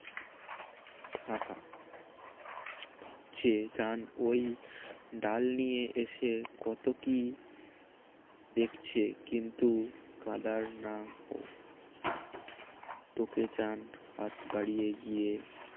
ভাবছে চান ওই ডাল নিয়ে এসে কত কি দেখছে কিন্তু কাদার না তোকে চান হাত বাড়িয়ে গিয়ে